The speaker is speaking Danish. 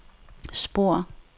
spor